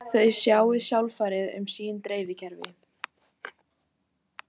Þau sjái alfarið um sín dreifikerfi